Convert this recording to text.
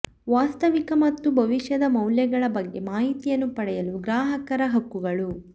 ವಾಸ್ತವಿಕ ಮತ್ತು ಭವಿಷ್ಯದ ಮೌಲ್ಯಗಳ ಬಗ್ಗೆ ಮಾಹಿತಿಯನ್ನು ಪಡೆಯಲು ಗ್ರಾಹಕರ ಹಕ್ಕುಗಳು